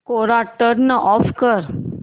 कोरा turn off कर